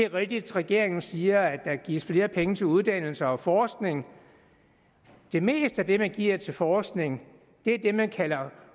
rigtigt at regeringen siger at der gives flere penge til uddannelse og forskning det meste af det man giver til forskning er det man kalder